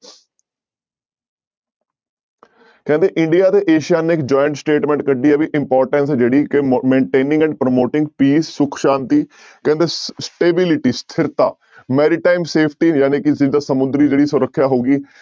ਕਹਿੰਦੇ india ਤੇ Asia ਨੇ ਇੱਕ joint statement ਕੱਢੀ ਹੈ ਵੀ importance ਜਿਹੜੀ ਕਿ ਮ maintaining and promoting peace ਸੁੱਖ ਸ਼ਾਂਤੀ ਕਹਿੰਦੇ stability ਸਥਿਰਤਾ maritime safety ਜਾਣੀਕਿ ਜਿੱਦਾਂ ਸਮੁੰਦਰੀ ਜਿਹੜੀ ਸੁਰੱਖਿਆ ਹੋ ਗਈ